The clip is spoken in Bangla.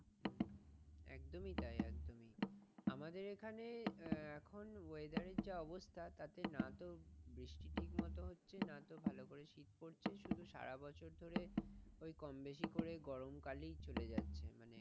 একদোমি তাই একদোমি, আমাদের এখানে আহ এখন weather এর যে অবস্থা তাতে নাতো বৃষ্টি ঠিকমতো হচ্ছে নাতো ভালো করে শীত পড়ছে শুধু সারা বছর ধরে ঐ কমবেশি করে গরমকালই চলে যাচ্ছে।